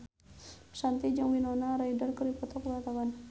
Shanti jeung Winona Ryder keur dipoto ku wartawan